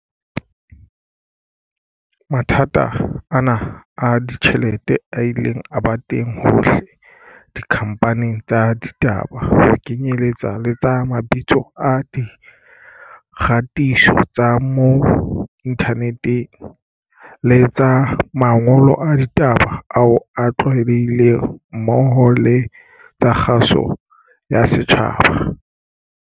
Mathata ana a ditjhelete a ile a ba teng hohle dikhamphaning tsa ditaba, ho kenyeletsa tsa mabitso a di kgatiso tsa mo inthaneteng le tsa mangolo a ditaba ao a tlwaelehileng mmoho le tsa kgaso ya setjhaba.